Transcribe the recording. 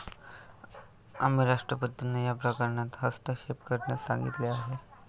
आम्ही राष्ट्रपतींना या प्रकरणात हस्तक्षेप करण्यास सांगितले आहे.